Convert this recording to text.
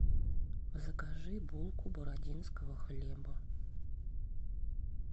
закажи булку бородинского хлеба